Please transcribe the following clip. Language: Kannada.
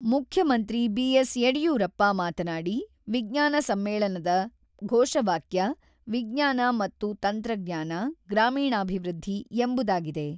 ಮುಖ್ಯಮಂತ್ರಿ ಬಿ.ಎಸ್.ಯಡಿಯೂರಪ್ಪ ಮಾತನಾಡಿ, ವಿಜ್ಞಾನ ಸಮ್ಮೇಳನದ ಘೋಷವಾಕ್ಯ ವಿಜ್ಞಾನ ಮತ್ತು ತಂತ್ರಜ್ಞಾನ, ಗ್ರಾಮೀಣಾಭಿವೃದ್ಧಿ 'ಎಂಬುದಾಗಿದೆ.